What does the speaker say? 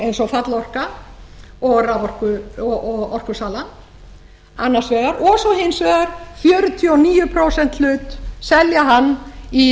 eins og fallorka og orkusalan annars vegar og svo hins vegar fjörutíu og níu prósenta hlut selja hann í